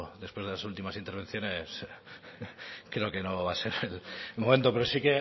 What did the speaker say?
después de las últimas intervenciones creo que no va a ser el momento pero si